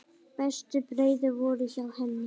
Bestu brauðin voru hjá henni.